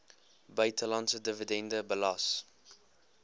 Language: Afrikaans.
buitelandse dividende belas